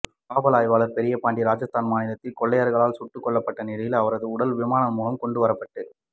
காவல் ஆய்வாளர் பெரியபாண்டியன் ராஜஸ்தான் மாநிலத்தில் கொள்ளையர்களால் சுட்டு கொல்லப்பட்ட நிலையில் அவரது உடல் விமானம் மூலம் கொண்டு வரப்பட்டு